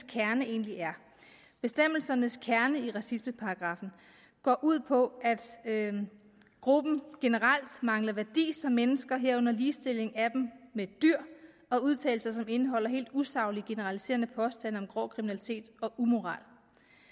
kerne egentlig er bestemmelsernes kerne i racismeparagraffen går ud på at gruppen generelt mangler værdi som mennesker herunder ligestilling af dem med dyr og udtalelser som indeholder helt usaglige generaliserende påstande om grov kriminalitet og umoral